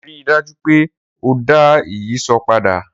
Rii daju pe o da ìyíṣòó pada!